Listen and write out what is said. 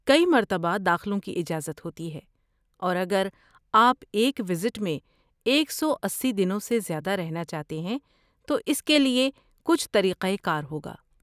کئی مرتبہ داخلوں کی اجازت ہوتی ہے اور اگر آپ ایک ویزٹ میں ایک سو اسی دنوں سے زیادہ رہنا چاہتے ہیں تو اس کےلیے کچھ طریقہ کار ہوگا